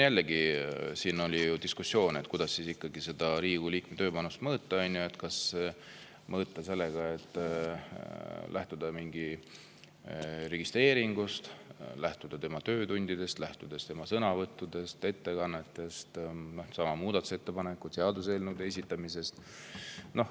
Jällegi, siin oli diskussioon, kuidas ikkagi Riigikogu liikme tööpanust mõõta, kas lähtuda mingist registreeringust, lähtuda tema töötundidest, lähtuda tema sõnavõttudest, ettekannetest, muudatusettepanekutest või seaduseelnõude esitamisest.